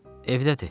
Evdədir.